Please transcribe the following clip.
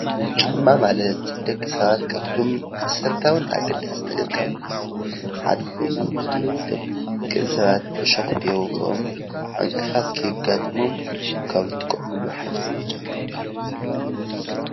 ጫማ ማለት ደቂ ሰባት ካብቶም መሰረታዊ ኣገደስቲ ካብ ዝባሃሉ ሓደ ኮይኑ ደቂ ሰባት ዕሾክ ከይወግኦን ዕንቅፋት ከየጋጥሞም ካብ ዝጥቀምሉ ሓደ ጫማ ይባሃል፡፡